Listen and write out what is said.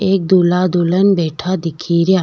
एक दूल्हा दुल्हन बैठा दिखे रिया।